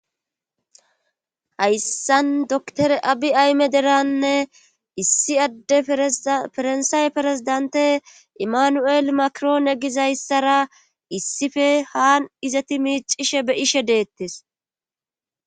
hayssan dokitere abi ayme deranne issi adde ferensaaye perezidante imanu7el makiroon e gizayssara issife haan izati miicishe be ishe deettes